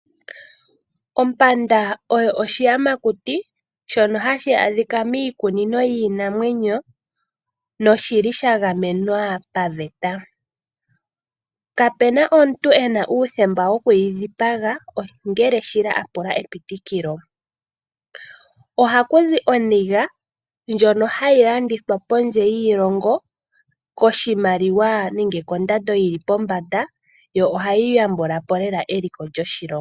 Ompanda oyo oshiyamakuti shono hashi adhika miikunino yiinamwenyo nosha gamenwa paveta. Kapu na omuntu e na uuthemba woku yi dhipaga, ongele shila a pula epitikilo. Ohaku zi o ayego ngono hag alandithw apondje yiilongo koshimaliwa nenge kondando yi li pombanda yo ohayi yambula po lela eliko lyoshilongo.